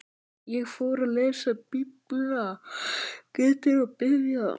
Ég fór að lesa Biblíuna betur og biðja.